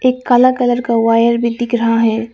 एक काला कलर का वायर भी दिख रहा है।